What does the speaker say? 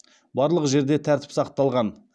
барлық жерде тәртіп сақталған